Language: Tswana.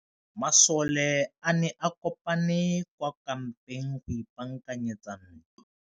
Masole a ne a kopane kwa kampeng go ipaakanyetsa ntwa.